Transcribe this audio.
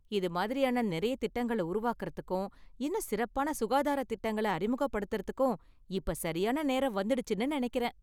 இது மாதிரியான நெறைய திட்டங்கள உருவாக்குறதுக்கும், இன்னும் சிறப்பான சுகாதாரத் திட்டங்கள அறிமுகப்படுத்தறதுக்கும் இப்ப சரியான நேரம் வந்துடுச்சுன்னு நெனைக்கிறேன்.